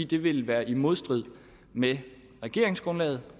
det vil være i modstrid med regeringsgrundlaget